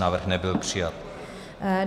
Návrh nebyl přijat.